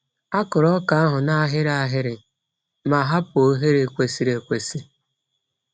A kụrụ ọka ahụ n’ahịrị ahịrị ma hapụ oghere kwesịrị ekwesị.